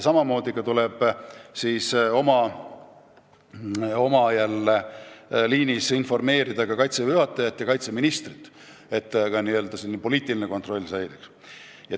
Samamoodi tuleb informeerida ka Kaitseväe juhatajat ja kaitseministrit, et n-ö poliitiline kontroll säiliks.